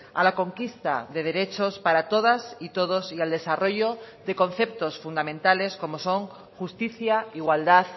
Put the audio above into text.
a la conquista de derechos para todas y todos y al desarrollo de conceptos fundamentales como son justicia igualdad